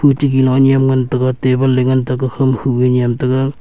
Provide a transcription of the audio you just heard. ati gelo niam ngan taga table ley ngan taga ga khau ma khu ee niam taga.